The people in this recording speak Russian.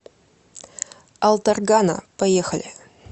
алтаргана поехали